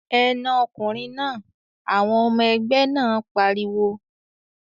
"Ẹ na ọkùnrin náà!" Àwọn ọmọ-ẹgbẹ́ náà pariwo.